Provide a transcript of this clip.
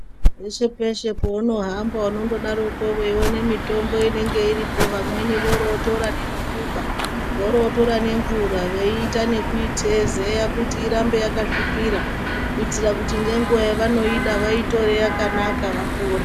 Peshe-peshe peunohamba unondodaroko veione mitombo inenge iripo vamweni, oro votora nekukuba oro votora nemvura veita nekuitezeya kuti irambe yakasvipira. Kuitira kuti nenguva yavanoida vaitore yakanaka vapore.